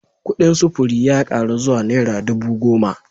Kudin sufuri ya karu zuwa naira dubu goma